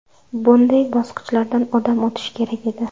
Bunday bosqichlardan odam o‘tishi kerak edi.